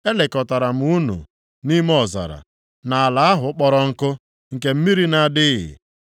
Elekọtara m unu nʼime ọzara, nʼala ahụ kpọrọ nkụ, nke mmiri na-adịghị.